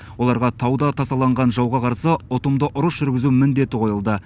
оларға тауда тасаланған жауға қарсы ұтымды ұрыс жүргізу міндеті қойылды